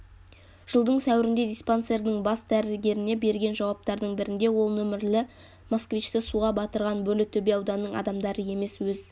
жылдың сәуірінде диспансердің бас дәрігеріне берген жауаптардың бірінде ол нөмірлі москвичті суға батырған бөрлітөбе ауданының адамдары емес өз